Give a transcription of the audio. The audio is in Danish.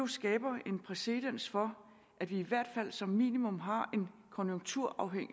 skaber en præcedens for at vi i hvert fald som minimum har en konjunkturafhængig